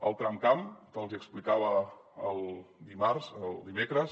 el tramcamp que els hi explicava el dimarts o dimecres